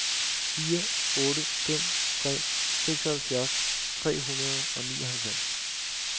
fire otte fem tre seksoghalvfjerds tre hundrede og nioghalvfems